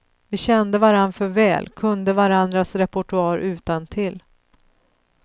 Vi kände varann för väl, kunde varandras repertoar utantill.